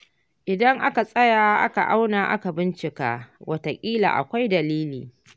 Idan aka tsaya aka auna aka bincike, wataƙila akwai dalili.